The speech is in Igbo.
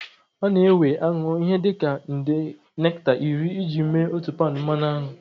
Ọ na-ewe aṅụ ihe dị ka nde nekta iri iji mee otu paụnd mmanụ aṅụ.